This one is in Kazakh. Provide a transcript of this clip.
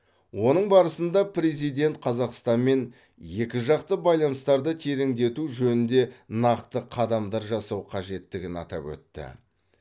оның барысында президент қазақстанмен екі жақты байланыстарды тереңдету жөнінде нақты қадамдар жасау қажеттігін атап өтті